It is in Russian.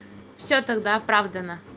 все тогда оправдана